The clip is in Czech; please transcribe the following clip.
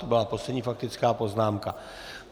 To byla poslední faktická poznámka.